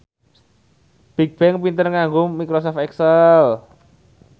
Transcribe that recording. Bigbang pinter nganggo microsoft excel